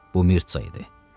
Bu Mirtsa idi.